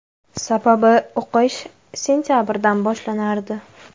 Sababi, o‘qish sentabrdan boshlanardi.